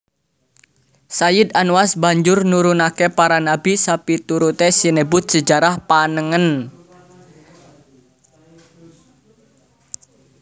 Sayid Anwas banjur nurunake para nabi sapiturute sinebut sejarah panengen